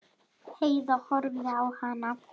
Heiða horfði á hana.